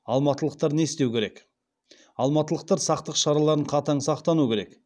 алматылықтар не істеу керек алматылықтар сақтық шараларын қатаң сақтану керек